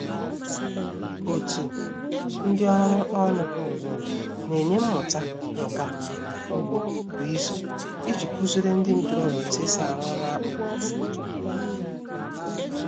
Otu ndị ọrụ ọnụ na-enye mmụta nka ugbo kwa izu iji kụziere ndị ntorobịa otu e si arụ ọrụ akpụ